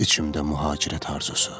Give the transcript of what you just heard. İçimdə mühacirət arzusu.